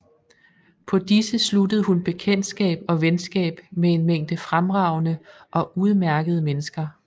På disse sluttede hun bekendtskab og venskab med en mængde fremragende og udmærkede mennesker